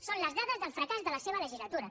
són les dades del fracàs de la seva legislatura